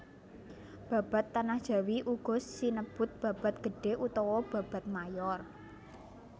Babad Tanah Jawi uga sinebut babad gedhé utawa babad mayor